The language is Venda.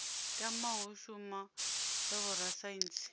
tamaho u shuma sa vhorasaintsi